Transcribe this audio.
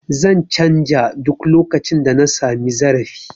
Zan canja duk lokacin da na sami zarafi